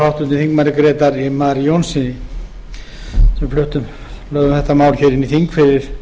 stendur og háttvirtur þingmaður grétari mar jónssyni sem lögðum þetta mál hér inn í þing fyrir